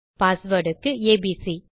password க்கு ABC